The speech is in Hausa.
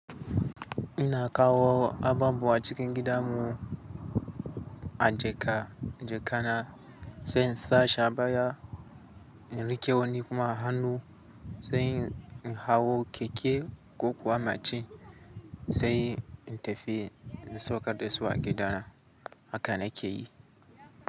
Ina kawo ababuwa acikin gidan mu an jaka jaka na sai in sa shaba ya rike woni kuma a hannu sai in hawo keke ko kuwa machine sai in tafi in saukar da su a gida. Haka na ke yi.